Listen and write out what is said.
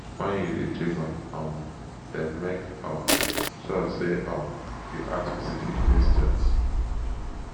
when you de check on um dem make um sure say um you ask specific questions